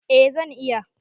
Eh zan iya.